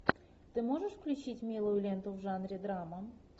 ты можешь включить милую ленту в жанре драма